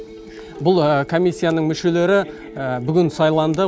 бұл комиссияның мүшелері бүгін сайланды